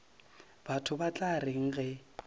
batho ba tla reng ge